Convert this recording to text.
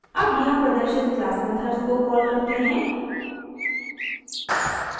अब यहाँ प्रदर्शित क्लास मेथड्स को कॉल करते हैं